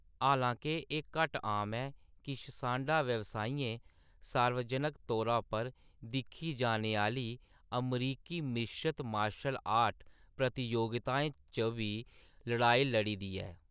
हालांके एह्‌‌ घट्ट आम ऐ, किश सांडा व्यवसायियें सार्वजनक तौर पर दिक्खी जाने आह्‌‌‌ली अमरीकी मिश्रत मार्शल आर्ट प्रतियोगिताएं च बी लड़ाई लड़ी दी ऐ।